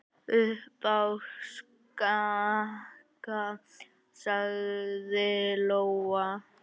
Upp á Skaga, sagði Lóa.